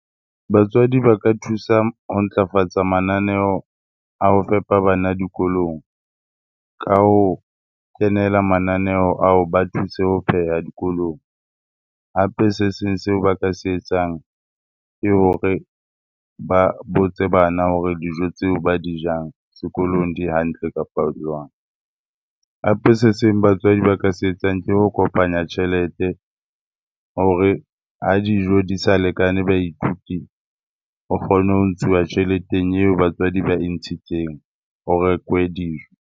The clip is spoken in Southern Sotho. Batswadi ba ka thusa ho ntlafatsa mananeo a ho fepa bana dikolong ka ho kenela mananeo ao ba thuse ho pheha dikolong. Hape se seng seo ba ka se etsang ke hore ba botse bana hore dijo tseo ba di jang sekolong di hantle kapa jwang. Hape se seng batswadi ba ka se etsang ke ho kopanya tjhelete hore ha dijo di sa lekane baithuti, o kgone ho ntshuwa tjheleteng eo batswadi ba e ntshitseng ho rekwe dijo.